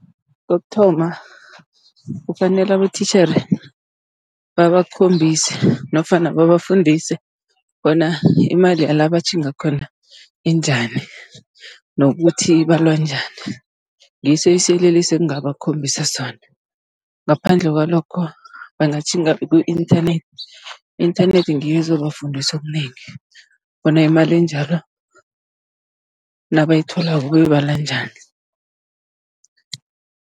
Kokuthoma kufanele abotitjhere babakhombise, nofana babafundise bona imali yala batjhinga khona injani, nokuthi ibalwa njani. Ngiso isiyeleliso engingabakhombisa sona, ngaphandle kwalokho bangatjhinga ku-inthanethi, i-inthanethi ngiyo ezobafundisa okunengi, bona imali enjalo nabayitholako bayoyibala njani.